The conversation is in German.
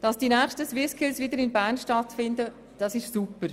Dass die nächsten SwissSkills wieder in Bern stattfinden, ist super.